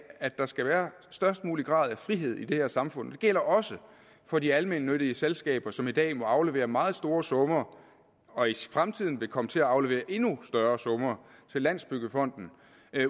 at der skal være størst mulig grad af frihed i det her samfund det gælder også for de almennyttige selskaber som i dag må aflevere meget store summer og i fremtiden vil komme til at aflevere endnu større summer til landsbyggefonden